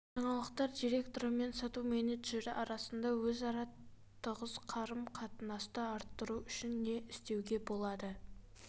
жаңалықтар директоры мен сату менеджері арасында өзара тығыз қарым қатынасты арттыру үшін не істеуге болады